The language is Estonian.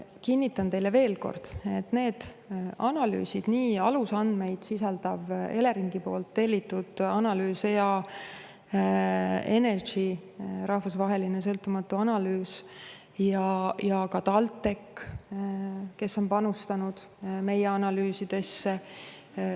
Kinnitan teile veel kord, et need analüüsid – nii alusandmeid sisaldav Eleringi tellitud analüüs, EA Energy rahvusvaheline sõltumatu analüüs kui ka TalTechi analüüsid – on kõik tehtud usaldusväärsete partnerite poolt.